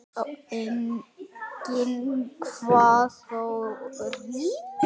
Enginn kvað þó rímu.